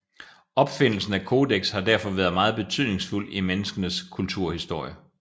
Opfindelsen af kodeks har derfor været meget betydningsfuld i menneskenes kulturhistorie